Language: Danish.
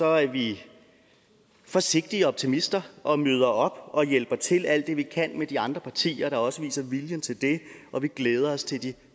er vi forsigtige optimister og møder op og hjælper til alt det vi kan sammen med de andre partier der også viser viljen til det og vi glæder os til de